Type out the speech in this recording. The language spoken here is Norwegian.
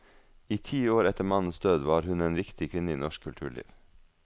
I ti år etter mannens død var hun en viktig kvinne i norsk kulturliv.